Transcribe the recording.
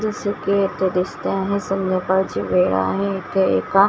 जसं की इथे दिसते आहे संध्याकाळची वेळ आहे इथे एका--